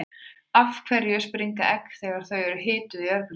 af hverju springa egg þegar þau eru hituð í örbylgjuofni